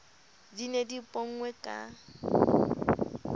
di ne di ponngwe ka